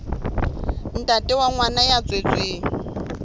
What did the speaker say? ntate wa ngwana ya tswetsweng